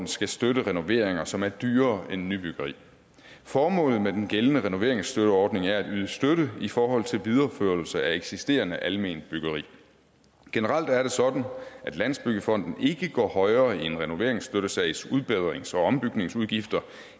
skal støtte renoveringer som er dyrere end nybyggeri formålet med den gældende renoveringsstøtteordning er at yde støtte i forhold til videreførelse af eksisterende alment byggeri generelt er det sådan at landsbyggefonden ikke går højere i en renoveringsstøttesags udbedrings og ombygningsudgifter